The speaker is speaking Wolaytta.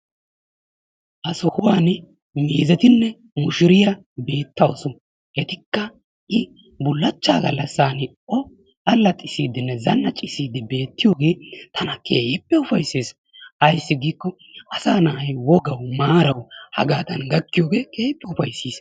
Ha sohuwan muuzetinne mushuriya beettawus. Etikka yi bullachchaa gallassaani o allaxissiiddinne zannaccissiiddi beettiyooge keehippe ufaysses. Ayssi giikkoo asaa na"ay wogawu maarawu hagaadan gakkiyooge keehippe ufayissis.